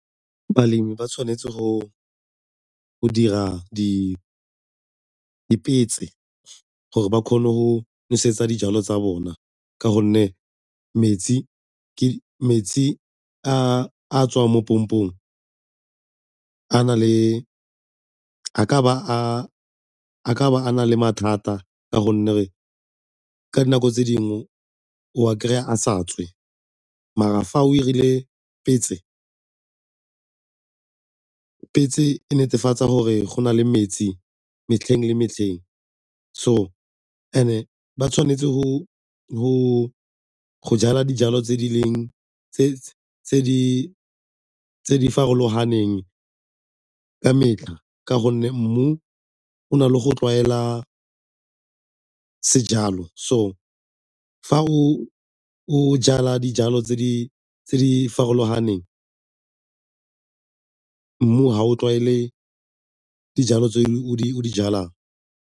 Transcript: Balemi ba tshwanetse go dira dipetse gore ba kgone go nosetsa dijalo tsa bona ka gonne metsi a a tswang mo pompong a ka ba a na le mathata ka gonne ka dinako tse dingwe o kry-a sa tswe mara fa o 'irile petse, petse e netefatsa gore go na le metsi metlheng le metlheng. So and-e ba tshwanetse go jala dijalo tse di farologaneng ka metlha ka gonne mmu o na le go tlwaela sejalo so fa o jala dijalo tse di farologaneng mmu ga o tlwaele dijalo tse o di jalang.